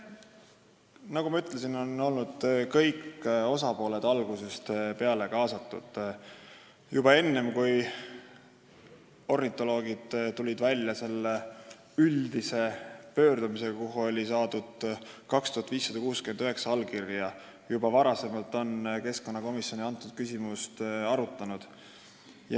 Nagu ma ütlesin, on kõik osapooled olnud algusest peale kaasatud, ja keskkonnakomisjon oli juba enne seda, kui ornitoloogid tulid välja üldise pöördumisega, kuhu oli saadud 2569 allkirja, kõnealust küsimust arutanud.